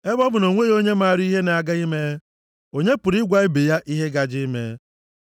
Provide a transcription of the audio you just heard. Ebe ọ bụ na o nweghị onye mara ihe na-aga ime, onye pụrụ ịgwa ibe ya ihe gaje ime?